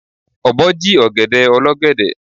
Ọ̀bọ jí ọ̀gẹ̀dẹ̀ olọ́gẹ̀dẹ̀.